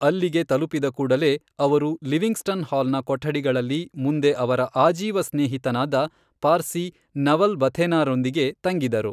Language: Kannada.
ಅಲ್ಲಿಗೆ ತಲುಪಿದ ಕೂಡಲೇ ಅವರು ಲಿವಿಂಗ್ಸ್ಟನ್ ಹಾಲ್ನ ಕೊಠಡಿಗಳಲ್ಲಿ ಮುಂದೆ ಅವರ ಆಜೀವ ಸ್ನೇಹಿತನಾದ ಪಾರ್ಸಿ ನವಲ್ ಭಥೇನಾರೊಂದಿಗೆ ತಂಗಿದರು.